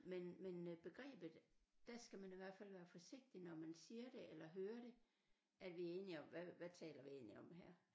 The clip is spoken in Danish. Men men øh begrebet der skal man i hvert fald være forsigtig når man siger det eller hører det at vi er enige om hvad hvad taler vi egentlig om her